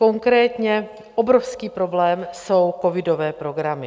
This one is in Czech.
Konkrétně obrovský problém jsou covidové programy.